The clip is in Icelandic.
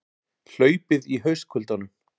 Hlaupið í haustkuldanum